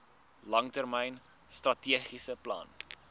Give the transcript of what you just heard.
langtermyn strategiese plan